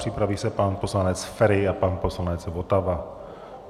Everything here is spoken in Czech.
Připraví se pan poslanec Feri a pan poslanec Votava.